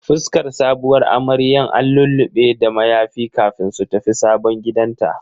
Fuskar sabuwar amarya an lullube da mayafi kafin su tafi sabon gidanta.